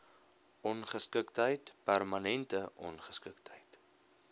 ongeskiktheid permanente ongeskiktheid